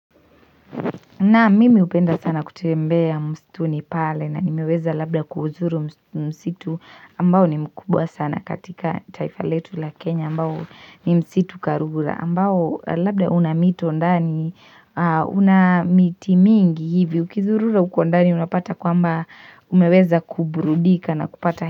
Naam mimi hupenda sana kutembea msituni pale na nimeweza labda kuuzuru msitu ambao ni mkubwa sana katika taifa letu la Kenya ambao ni msitu karura ambao labda una mito ndani una miti mingi hivi ukizurura uko ndani unapata kwamba umeweza kuburudika na kupata.